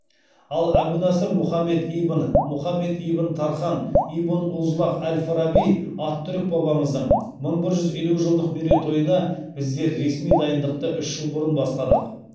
ал әбу насыр мұхаммед ибн мұхаммед ибн тархан ибн узлағ әл фараби ат түрік бабамыздың мың бір жүз елу жылдық мерейтойына біздер ресми дайындықты үш жыл бұрын бастадық